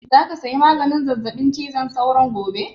Za ka saya maganin zazzaɓin cizon sauron gobe?